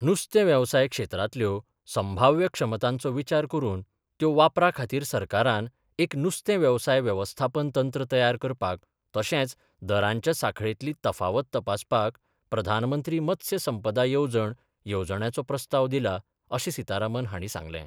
नुस्तेंवेवसाय क्षेत्रांतल्यो संभाव्य क्षमतांचो विचार करून त्यो वापरा खातीर सरकारान एक नुस्तें वेवसाय वेवस्थापन तंत्र तयार करपाक तशेंच दरांच्या साखळेतली तफावत तपासपाक प्रधानमंत्री मत्स्य संपदा येवजण येवजण्याचो प्रस्ताव दिला अशेंय सिताराम हांणी सांगलें.